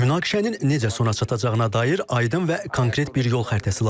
Münaqişənin necə sona çatacağına dair aydın və konkret bir yol xəritəsi lazımdır.